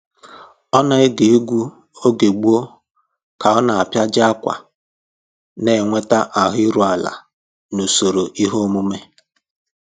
Ọ na-ege egwu oge gboo ka ọ ọ na-apịaji ákwà, na-enweta ahụ iru ala n'usoro ihe omume